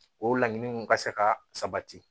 O laɲiniw ka se ka sabati